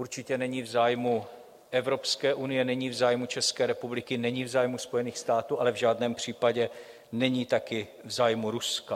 Určitě není v zájmu Evropské unie, není v zájmu České republiky, není v zájmu Spojených států, ale v žádném případě není taky v zájmu Ruska.